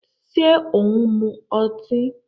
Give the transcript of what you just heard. Ṣé ò ń mu ọtí?